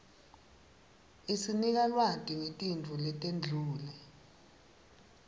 isinika lwati nqetinfo letenqule